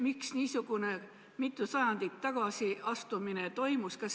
Miks niisugune mitu sajandit tagasi astumine toimus?